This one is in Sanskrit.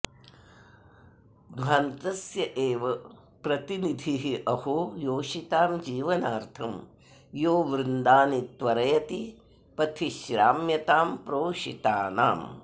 ध्वान्तस्यैव प्रतिनिधिरहो योषितां जीवनार्थं यो वृन्दानि त्वरयति पथि श्राम्यतां प्रोषितानाम्